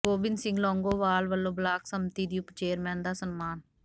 ਗੋਬਿੰਦ ਸਿੰਘ ਲੌਂਗੋਵਾਲ ਵਲੋਂ ਬਲਾਕ ਸੰਮਤੀ ਦੀ ਉਪ ਚੇਅਰਮੈਨ ਦਾ ਸਨਮਾਨ